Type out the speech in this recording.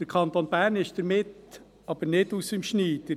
Der Kanton Bern ist damit aber nicht aus dem Schneider.